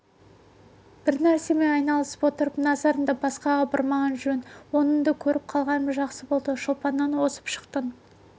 бір нәрсемен айналысып отырып назарыңды басқаға бұрмаған жөн оныңды көріп қалғаным жақсы болды шолпаннан озып шықтың